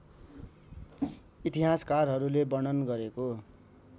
इतिहासकारहरूले वर्णन गरेको